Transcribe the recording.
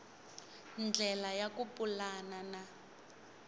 ndlela ya ku pulana na